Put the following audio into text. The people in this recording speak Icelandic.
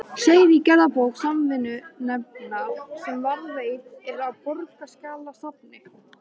segir í gerðabók Samvinnunefndar, sem varðveitt er á Borgarskjalasafni.